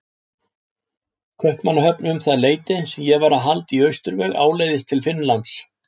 Kaupmannahöfn um það leyti sem ég var að halda í austurveg áleiðis til Finnlands.